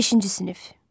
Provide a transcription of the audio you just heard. Beşinci sinif.